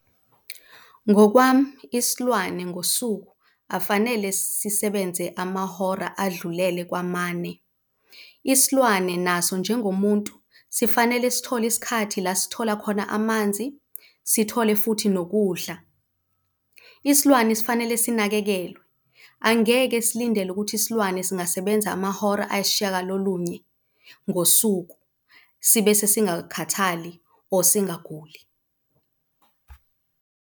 Ngokwami, isilwane ngosuku afanele sisebenze amahora adlulele kwamane. Isilwane naso njengomuntu sifanele sithole isikhathi la sithola khona amanzi sithole futhi nokudla. Isilwane sifanele sinakekelwe. Angeke silindele ukuthi isilwane singasebenza amahora ayishiyagalolunye ngosuku sibese singakhathali or singaguli.